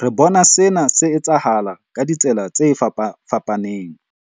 Re bona sena se etsahala ka ditsela tse fapafapaneng.